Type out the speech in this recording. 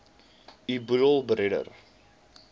u boedel beredder